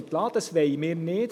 Das wollen wir nicht.